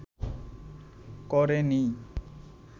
ক’রে নিই